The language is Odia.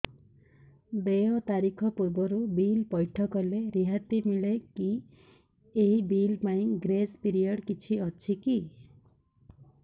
ଦେୟ ତାରିଖ ପୂର୍ବରୁ ବିଲ୍ ପୈଠ କଲେ ରିହାତି ମିଲେକି ଏହି ବିଲ୍ ପାଇଁ ଗ୍ରେସ୍ ପିରିୟଡ଼ କିଛି ଅଛିକି